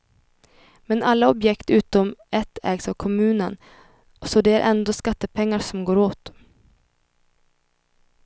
Men alla objekt utom ett ägs av kommunen, så det är ändå skattepengar som går åt.